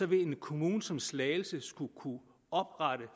vil en kommune som slagelse skulle kunne oprette